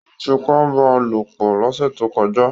Wọ́n fipá bá a lò pọ̀ lọ́sẹ̀ tó kọjá